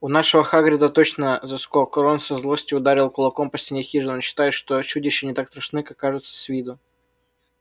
у нашего хагрида точно заскок рон со злости ударил кулаком по стене хижины он считает что чудища не так страшны как кажутся с виду